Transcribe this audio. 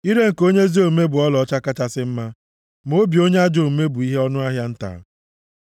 Ire nke onye ezi omume bụ ọlaọcha kachasị mma, ma obi onye ajọ omume bụ ihe ọnụahịa nta.